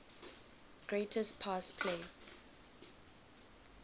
greatest pass play